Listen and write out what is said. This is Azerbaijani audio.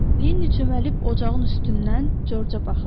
Linni çöməlib ocağın üstündən Corca baxırdı.